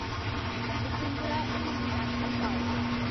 Mukundra Hills National park